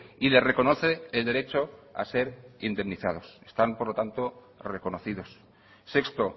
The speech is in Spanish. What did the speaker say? y le reconoce el derecho a ser indemnizados están por lo tanto reconocidos sexto